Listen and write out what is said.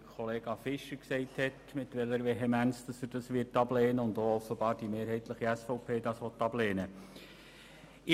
Kollege Fischer hat soeben gesagt, mit welcher Vehemenz er und offenbar auch mehrheitlich die SVP sie ablehnen will.